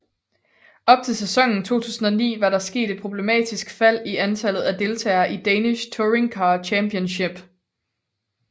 Op til sæsonen 2009 var der sket et problematisk fald i antallet af deltagere i Danish Touringcar Championship